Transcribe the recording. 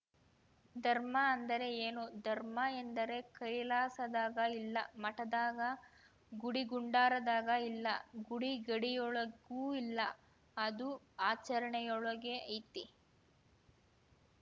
ಧರ್ಮ ಅಂದರೆ ಏನು ಧರ್ಮ ಎಂದರೆ ಕೈಲಾಸದಾಗ ಇಲ್ಲ ಮಠದಾಗ ಗುಡಿಗುಂಡಾರದಾಗ ಇಲ್ಲ ಗುಡಿಗಡಿಯೊಳಗೂ ಇಲ್ಲ ಅದು ಆಚರಣೆಯೊಳಗೆ ಐತಿ